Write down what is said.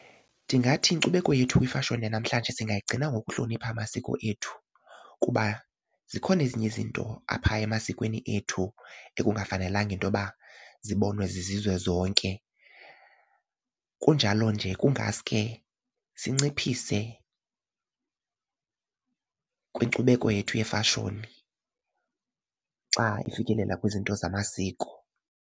Ndingathi inkcubeko yethu nefashoni yanamhlanje singayigcina ngokuhlonipha amasiko ethu kuba zikhona ezinye izinto apha emasikweni ethu ekungafanelekanga into yoba zibonwe zizizwe zonke. Kunjalo nje kungaske sinciphise kwinkcubeko yethu yefashoni xa ifikelela kwizinto zamasiko.